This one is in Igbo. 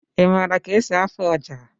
Ị mara ka-esi afụ ọjà?